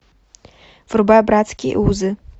врубай братские узы